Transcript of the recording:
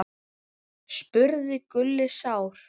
spurði Gulli sár.